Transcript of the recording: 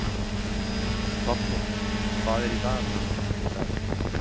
Tolli, hvað er í dagatalinu mínu í dag?